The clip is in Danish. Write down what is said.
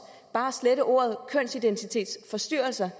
bare at slette ordet kønsidentitetsforstyrrelser